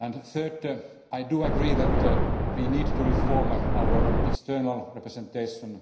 Thirdly, I do agree that we need to reform our external representation.